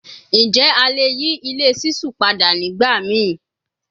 Njẹ a le yi ile ṣiṣu pada nigbamii